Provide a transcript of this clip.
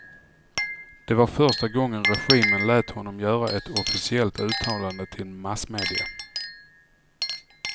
Det var första gången regimen lät honom göra ett officiellt uttalande till massmedia.